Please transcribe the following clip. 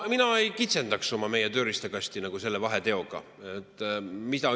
Mina ei kitsendaks meie tööriistakasti selle vahetegemisega.